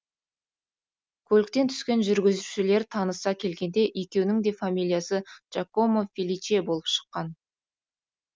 көліктен түскен жүргізушілер таныса келгенде екеуінің де фамилиясы джакомо феличе болып шыққан